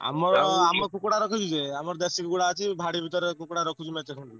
ଆମର, ଆମର କୁକୁଡା ରଖିଛୁ ଯେ ଦେଶୀ କୁକୁଡ଼ା ଅଛି ଭାଡି ଭିତରେ ରଖିଚୁ କୁକୁଡ଼ା ମେଞ୍ଚେ ଖଣ୍ଡେ।